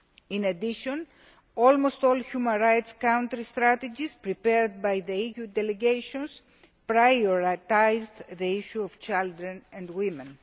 In addition, almost all the human rights counter strategies prepared by the EU delegations prioritise the issue of children and women.